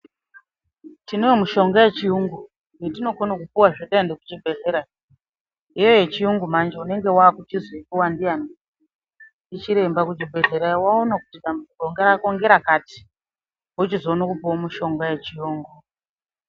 Tinowo mushonga yechiyungu yatinokona kupuwazve taende kuchibhedhlera, iyoyo yechiyungu manje unenge wakuchizoipuwa ndiani ndichiremba kuchibhedhlera vaona kuti dambudziko rako ngerakati wochizoone kupuwa mushonga yechiyungu.